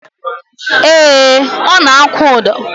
Ee, ọ na-akwụ ụdọ